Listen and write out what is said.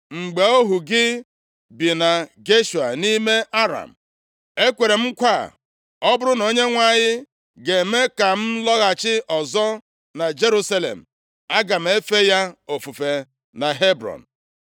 Mgbe ohu gị bi na Geshua nʼime Aram, ekweere m nkwa a, ‘Ọ bụrụ na Onyenwe anyị ga-eme ka m lọghachi ọzọ na Jerusalem, aga m efe ya ofufe na Hebrọn.’ ”